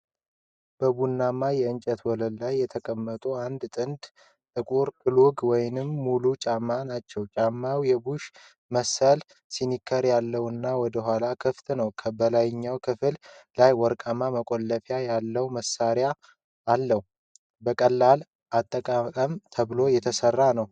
በቡናማ የእንጨት ወለል ላይ የተቀመጡ አንድ ጥንድ ጥቁር ክሎግ ወይም ሙል ጫማ ናቸው። ጫማው የቡሽ መሰል ስኒከር ያለውና ወደ ኋላ ክፍት ነው። በላይኛው ክፍል ላይ ወርቃማ መቆለፊያ ያለው ማሰሪያ አለው። ለቀላል አጠቃቀም ተብሎ የተሠራ ነው።